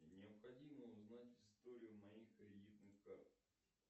необходимо узнать историю моих кредитных карт